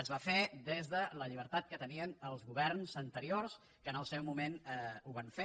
es va fer des de la llibertat que tenien els governs anteriors que en el seu moment ho van fer